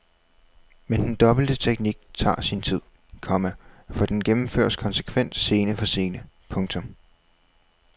Men den dobbelte teknik tager sin tid, komma for den gennemføres konsekvent scene for scene. punktum